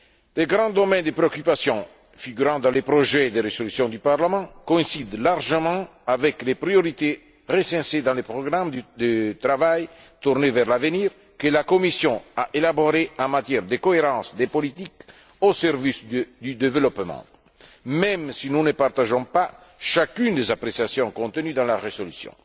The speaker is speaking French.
Les grands domaines de préoccupation figurant dans les projets de résolution du Parlement coïncident largement avec les priorités recensées dans les programmes de travail tournés vers l'avenir que la Commission a élaborés en matière de cohérence des politiques au service du développement, même si nous ne partageons pas chacune des appréciations contenues dans la résolution.